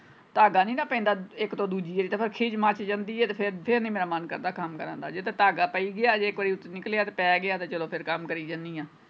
ਧਾਗਾ ਨਹੀਂ ਨਾ ਪੈਂਦਾ ਇੱਕ ਤੋਂ ਦੂਜੀ ਵਾਰੀ ਫੇਰ ਖਿੱਜ ਮੱਚ ਜਾਂਦੀ ਹੈ ਤੇ ਫੇਰ ਫੇਰ ਨਹੀਂ ਮੇਰਾ ਮੰਨ ਕਰਦਾ ਕੰਮ ਕਰਨ ਜੇ ਤੇ ਧਾਗਾ ਪੀਣ ਗਿਆ ਜੇ ਕੋਈ ਨਿਕਲਿਆ ਤੇ ਪੈ ਗਿਆ ਚਲੋ ਫੇਰ ਕੰਮ ਕਰਿ ਜਾਣੀ ਆਂ।